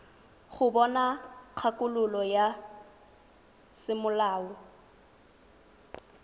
go bona kgakololo ya semolao